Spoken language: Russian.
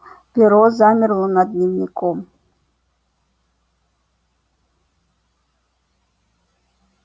перо замерло над дневником